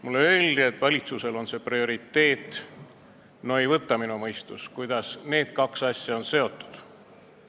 Mulle öeldi, et valitsuse jaoks on see prioriteet, no ei võta minu mõistus, kuidas need kaks asja on seotud.